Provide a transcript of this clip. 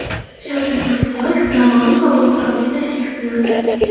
Shavkat Mirziyoyev Navoiy va Buxoroga tashrif buyurdi.